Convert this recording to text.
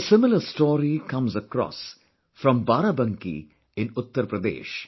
A similar story comes across from Barabanki in Uttar Pradesh